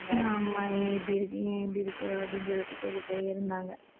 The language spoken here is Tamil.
ஆமா, ஏன் இப்படி இருக்கீங்க ஏன் இப்படி இருக்கு? அப்படின்னு சொல்லிட்டு கேட்டுட்டே இருந்தாங்க.